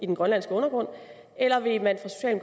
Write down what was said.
den grønlandske undergrund eller vil man